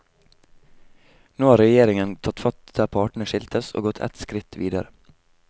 Nå har regjeringen tatt fatt der partene skiltes, og gått et skritt videre.